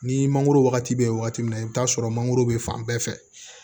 Ni mangoro wagati bɛ wagati min na i bi t'a sɔrɔ mangoro bɛ fan bɛɛ fɛ